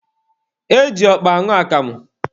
E ji ọkpa aṅụ akamụ.